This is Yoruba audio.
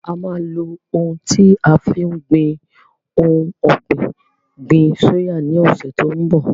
A máa lo ohun tí a fi ń gbin ohun ọ̀gbìn gbin sóyà ní ọ̀sẹ́ tí ń bọ̀.